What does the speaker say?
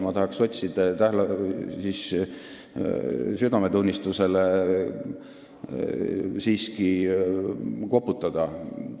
Ma tahaks siiski sotside südametunnistusele koputada.